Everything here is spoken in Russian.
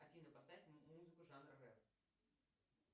афина поставь музыку жанра рэп